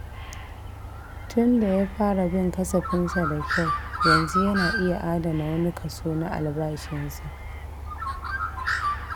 Tunda ya fara bin kasafinsa da kyau, yanzu yana iya adana wani kaso na albashinsa.